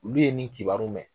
Olu ye nin kibaru mɛn.